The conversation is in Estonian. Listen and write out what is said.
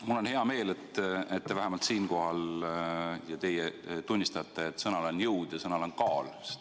Mul on hea meel, et teie vähemalt siinkohal tunnistate, et sõnal on jõud ja sõnal on kaal.